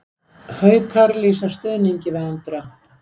Haukar lýsa yfir stuðningi við Andra